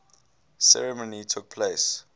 ceremony took place